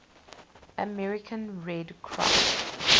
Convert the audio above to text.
american red cross